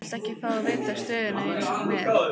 Viltu ekki fá að vita stöðuna eins og hún er?